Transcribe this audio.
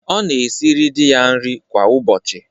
Ọ na-esiri di ya nri kwa ụbọchị.